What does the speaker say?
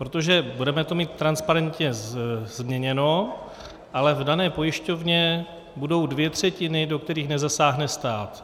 Protože budeme to mít transparentně změněno, ale v dané pojišťovně budou dvě třetiny, do kterých nezasáhne stát.